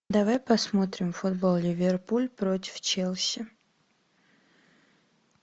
давай посмотрим футбол ливерпуль против челси